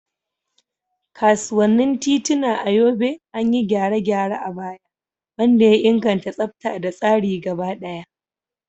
Kasuwannin tituna a Yobe an yi gyare-gyare a baya, wanda ya inganta tsafta da tsari gaba daya.